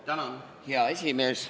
Hea esimees!